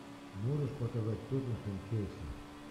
можешь показать тоттенхэм челси